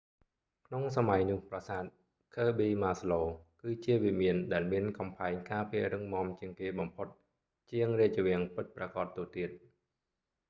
ក្នុងសម័យនោះប្រាសាទ ឃើប៊ី ម៉ាស្លូ kirby muxloe គឺជាវិមានដែលមានកំផែងការពាររឹងមាំជាងគេបំផុត ជាងរាជវាំងពិតប្រាកដទៅទៀត